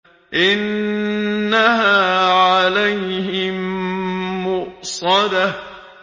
إِنَّهَا عَلَيْهِم مُّؤْصَدَةٌ